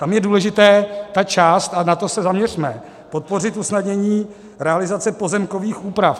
Tam je důležitá ta část, a na to se zaměřme - podpořit usnadnění realizace pozemkových úprav.